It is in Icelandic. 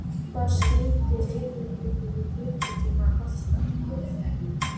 Hvað skyldi leigubíll í klukkutíma kosta?